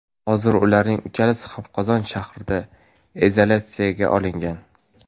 Hozir ularning uchalasi ham Qozon shahrida izolyatsiyaga olingan.